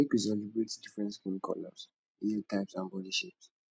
make we celebrate different skin colors hair types and bodi shapes